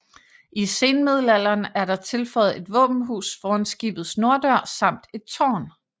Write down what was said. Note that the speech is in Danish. I senmiddelalderen er der tilføjet et våbenhus foran skibets norddør samt et tårn